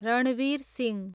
Ranveer Singh